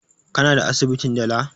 Ka na asibitin dala?